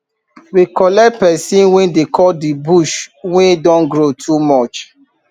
we collect pesin wey dey cut the bush wey don grow too much